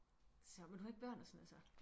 Så men så du har ikke børn og sådan noget så